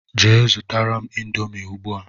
Jee zụtara mụ índomi ugbua!!